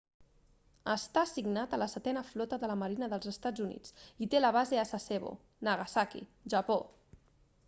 està assignat a la setena flota de la marina dels estats units i té la base a sasebo nagasaki japó